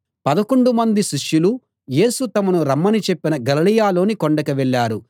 పదకొండు మంది శిష్యులు యేసు తమను రమ్మని చెప్పిన గలిలయలోని కొండకు వెళ్ళారు